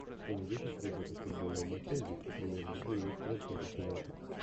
ты найдешь у себя запись футбольного матча английской премьер лиги лестера против юнайтед